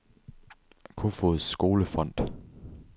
Kofoeds Skole Fond